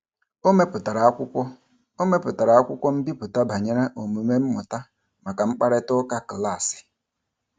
O mepụtara akwụkwọ O mepụtara akwụkwọ mbipụta banyere omume mmụta maka mkparịtaụka klaasị.